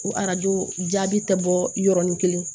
Ko arajo jaabi tɛ bɔ yɔrɔnin kelen